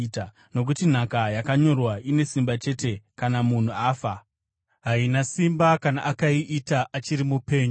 nokuti nhaka yakanyorwa ine simba chete kana munhu afa; haina simba kana akaiita achiri mupenyu.